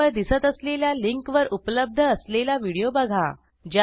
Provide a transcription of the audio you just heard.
स्क्रीनवर दिसत असलेल्या लिंकवर उपलब्ध असलेला व्हिडिओ बघा